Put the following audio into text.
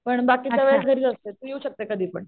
पण बाकी सगळं घरीच असते तू येऊ शकतेस कधीपण.